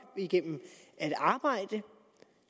gennem at arbejde